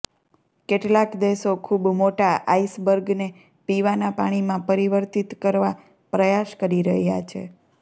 કેટલાંક દેશો ખૂબ મોટા આઈસબર્ગને પીવાના પાણીમાં પરિવર્તીત કરવા પ્રયાસ કરી રહ્યા છે